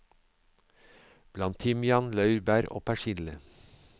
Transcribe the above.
Bland timian, laurbær og persille.